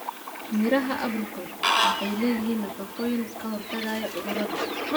Midhaha apricot waxay leeyihiin nafaqooyin ka hortagaya cudurrada.